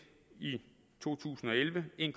i to tusind og elleve en